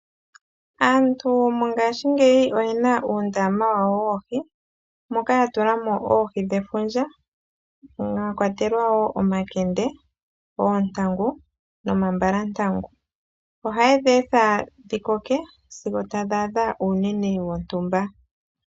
Aantu mongashingeyi oyena uundama wawo woohi, moka ya tula mo oohi dhefundja. Mwakwatelwa wo omakende, oontangu no mambalantangu, oha ye dhi etha dhi koke sigo tadhi adha uunene wontumba.